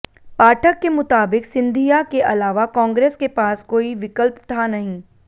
पाठक के मुताबिक़ सिंधिया के अलावा कांग्रेस के पास कोई विकल्प था नहीं